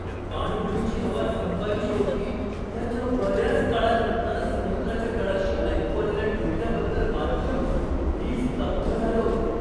पाणबुडीची हवा संपायची होती त्याच्या बऱ्याच काळानंतर समुद्राच्या तळाशी ऐकू आलेल्या ठोक्याबद्दल वाचून मी स्तब्ध झालो.